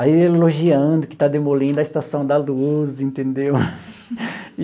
Aí elogiando que está demolindo a estação da Luz, entendeu?